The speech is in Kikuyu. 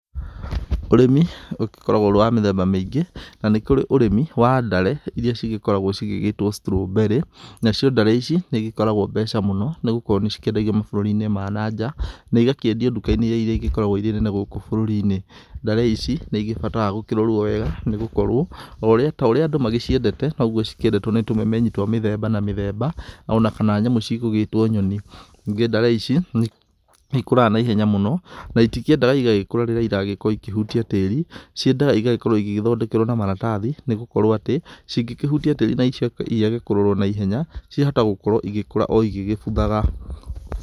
Ũrĩmi ũgĩgĩkoragwo ũrĩ wa mĩthemba mĩingĩ. Na nĩkũrĩ ũrĩmi wa ndare, irĩa cĩgĩkoragwo cigĩgĩtwo strawberry. Nacio ndare ici, nĩigĩkoragwo mbeca mũno, nigũkorwo nĩcikĩedagio mabũrũrinĩ ma na nja, na igakĩedio ndukainĩ irĩa ingĩ igĩkoragwo irĩ nene gũkũ bũrũrinĩ. Ndare ici nĩĩgĩbataraga gũkĩrorwo wega nĩgũkorũo o ũrĩa ta ũrĩa andũ magĩciendete, noguo cĩkĩendetwo ni tũmemenyi twa mĩthemba na mithemba, ona kana nyamũ cigũgĩtwo nyoni. Ningĩ ndare ici nĩ ikũraga na ihenya mũno,, na itikĩendaga igagĩkũra riria iragĩkorwo ikĩhutia tĩri, ciendaga igagĩkorwo igĩgĩthodekerwo na maratathi, nĩgũkorwo atĩ, cingĩkĩhutia tĩri na icoke ciage kũrorwo naihenya, ciahota gũkorwo igĩkũra oigĩgĩbuthaga.